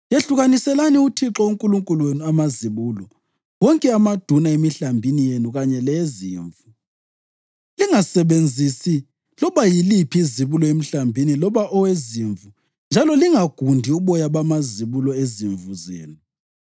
“Yehlukaniselani uThixo uNkulunkulu wenu amazibulo wonke amaduna emihlambini yenu kanye leyezimvu. Lingasebenzisi loba yiliphi izibulo emhlambini loba owezimvu njalo lingagundi uboya bamazibulo ezimvu zenu.